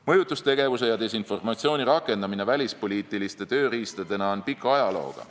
Mõjutustegevuse ja desinformatsiooni rakendamine välispoliitiliste tööriistadena on pika ajalooga.